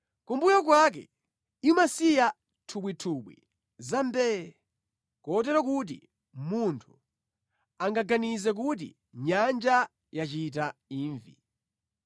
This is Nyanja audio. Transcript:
Kumbuyo kwake imasiya nthubwitubwi zambee, kotero kuti munthu angaganize kuti nyanja yachita imvi.